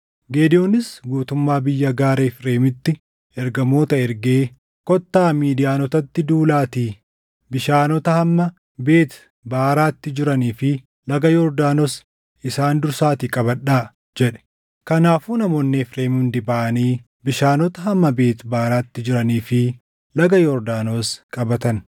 Gidewoonis guutummaa biyya gaaraa Efreemitti ergamoota ergee, “Kottaa Midiyaanotatti duulaatii bishaanota hamma Beet Baaraatti jiranii fi laga Yordaanos isaan dursaatii qabadhaa” jedhe. Kanaafuu namoonni Efreem hundi baʼanii bishaanota hamma Beet Baaraatti jiranii fi laga Yordaanos qabatan.